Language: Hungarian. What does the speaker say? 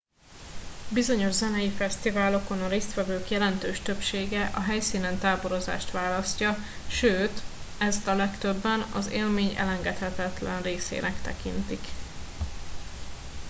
bizonyos zenei fesztiválokon a résztvevők jelentős többsége a helyszínen táborozást választja sőt ezt a legtöbben az élmény elengedhetetlen részének tekintik